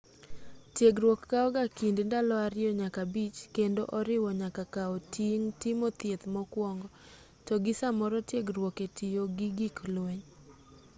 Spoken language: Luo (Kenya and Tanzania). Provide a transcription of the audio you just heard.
tiegruok kawo ga kind ndalo 2-5 kendo oriwo nyaka kao ting' timo thieth mokuongo to gi samoro tiegruok e tiyo gi gik lweny